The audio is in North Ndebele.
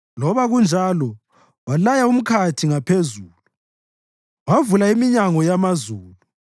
Loba kunjalo walaya umkhathi ngaphezulu wavula iminyango yamazulu;